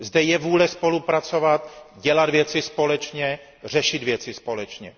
Zde je vůle spolupracovat, dělat věci společně, řešit věci společně.